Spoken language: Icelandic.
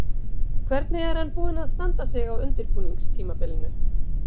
Hvernig er hann búinn að standa sig á undirbúningstímabilinu?